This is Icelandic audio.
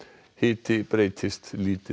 hiti breytist lítið